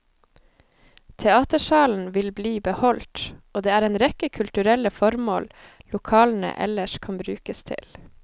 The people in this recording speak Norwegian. Teatersalen vil bli beholdt, og det er en rekke kulturelle formål lokalene ellers kan brukes til.